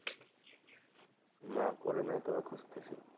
না করি নাই তবে খুজতেছি,